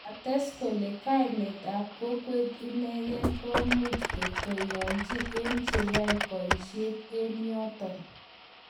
Kates kole kainet ab kokwet inegen komuch korotyioibu ot cheyoe boishet eng yoton.